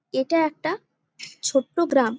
এটা একটা ছোট্ট গ্রাম।